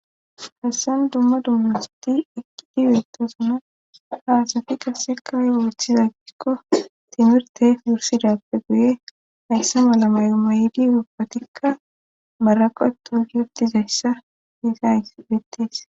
Hassan dumma dummasti eqqidi wiitosana haasafi qasekawooththiza ggikko timirteef wursidappe guye hayssa malamayo mayidi wubbatikka maraqatu yuddizayssa hiiza aibetees.